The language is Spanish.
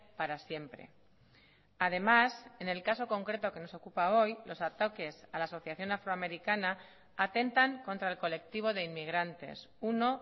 para siempre además en el caso concreto que nos ocupa hoy los ataques a la asociación afroamericana atentan contra el colectivo de inmigrantes uno